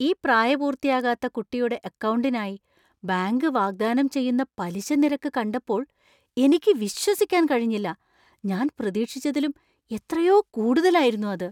ഈ പ്രായപൂർത്തിയാകാത്ത കുട്ടിയുടെ അക്കൗണ്ടിനായി ബാങ്ക് വാഗ്ദാനം ചെയ്യുന്ന പലിശ നിരക്ക് കണ്ടപ്പോൾ എനിക്ക് വിശ്വസിക്കാൻ കഴിഞ്ഞില്ല! ഞാൻ പ്രതീക്ഷിച്ചതിലും എത്രയോ കൂടുതലായിരുന്നു അത്.